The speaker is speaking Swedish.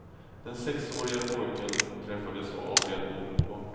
Den sexårige pojken träffades och avled omedelbart.